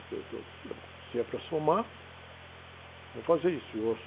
Essas coisas todas... Eu falei, bom, se é para somar, vamos fazer isso. E eu